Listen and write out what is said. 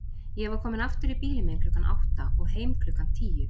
Ég var kominn aftur í bílinn minn klukkan átta og heim klukkan tíu.